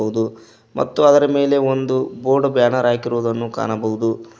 ಬಹುದು ಮತ್ತು ಅದರ ಮೇಲೆ ಒಂದು ಬೋರ್ಡ್ ಬ್ಯಾನರ್ ಹಾಕಿರುವುದು ಕಾಣಬಹುದು.